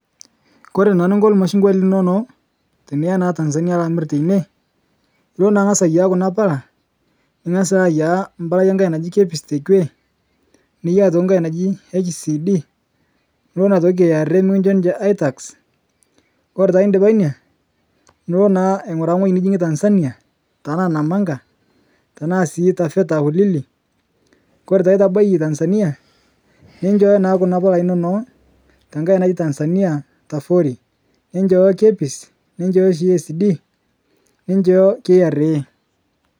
Kore naa ninko lmashungwa linono tiniya naa Tanzania alo amir teine, ilo naa ang'as aiyaea kuna paala iing'as alo aiyaea mpalai enkae naji KEBS tekewe niyaia aitoki nkae naji HCD,nulo aitoki KRA mikinchoo ninche aitax ,kore taa indipa inia nulo naa aing'uraa ng'oji nijing'e Tanzania tanaa Namanga tanaa sii Taveta Ulili. Kore taa itabaiye Tanzania, ninchooyo naa kuna palai inono ntake naji Tanzania Tafoori. Ninchooyo KEBS, ninchoyo sii HCD,ninchoyo KRA.